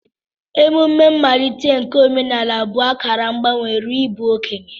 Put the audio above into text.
Emumme mmalite nke omenala bụ akara mgbanwe ruo n'ịbụ okenye.